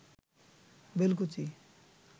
Belkuchi